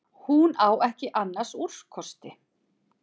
Hún á ekki annars úrkosti.